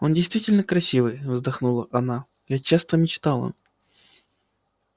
он действительно красивый вздохнула она я часто мечтала